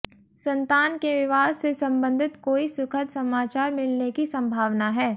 संतान के विवाह से सम्बंधित कोई सुखद समाचार मिलने की संभावना है